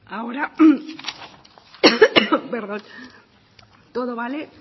ahora todo vale